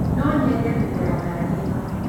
No nyende kũgũra ngari ĩno.